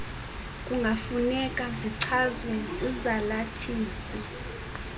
kungafuneka zichazwe zizalathisi